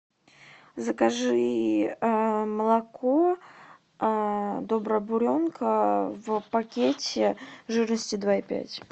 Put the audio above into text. закажи молоко добрая буренка в пакете жирностью два и пять